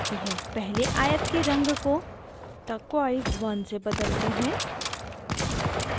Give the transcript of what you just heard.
पहले आयत के रंग को turquoise 1 से बदलते हैं